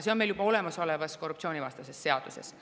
See on meil juba olemasolevas korruptsioonivastases seaduses.